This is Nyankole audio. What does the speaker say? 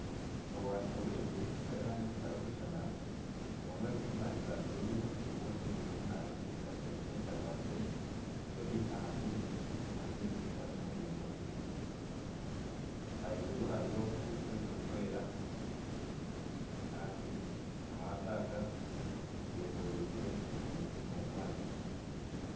Obwato bwingi bw'erangi zitarikushushana. Obumwe buri omu rangi za bururu obundi buri omu rangi za kinekye etakwastire buri aha maizi. Amaizi garimu ebingonzi bingi. Ahiguru hariyo ebicu birikwera kandi amaato aga hetoreirwe ebinyonyi omu mwanya.